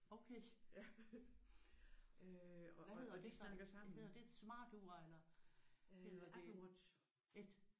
Okay! Hvad hedder det så? Hedder det et smartur eller hedder det?